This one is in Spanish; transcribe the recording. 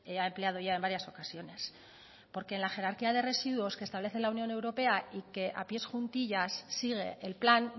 ha empleado ya en varias ocasiones porque en la jerarquía de residuos que estable la unión europea y que a pies juntillas sigue el plan